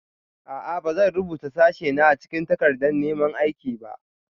A'a. Ba zan rubuta sashena a cikin takardar neman aiki ba